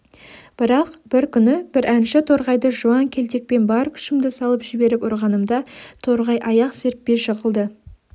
бірақ бір күні бір әнші торғайды жуан келтекпен бар күшімді салып жіберіп ұрғанымда торғай аяқ серппей жығылды